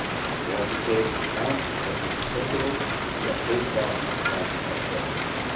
We have to take account of what is acceptable to our trade partners and at what price.